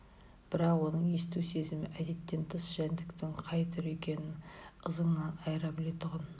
бірақ оның есту сезімі әдеттен тыс жәндіктің қай түрі екенін ызыңынан айыра білетұғын